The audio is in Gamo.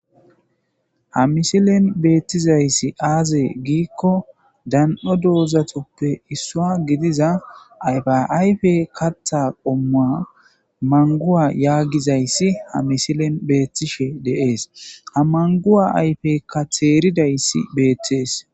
Haa missilenni betizayissi aze gikko dani'o dozatappe issuwa gidizza ayifa ayifa kaththa qommuwa maniguwa yaagizayissi haa missilenni bettishshe de'es.haa maniguwa ayifekka teridayissi betees .